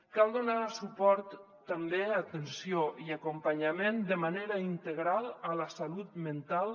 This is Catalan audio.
cal donar suport i també atenció i acompanyament de manera integral a la salut mental